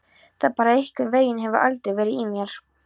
Það bara einhvern veginn hefur aldrei verið í mér.